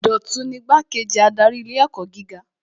Dọ̀tun ni Igbá-kejì adarí ilé ẹ̀kọ́ gíga